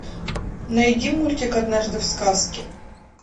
найди мультик однажды в сказке